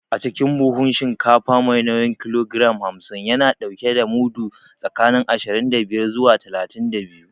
Acikin buhun shinkafa mai nauyin kilogiram hamsin, yana ɗauke da mudu tsakanin ashirin da biyar zuwa talatin da biyu.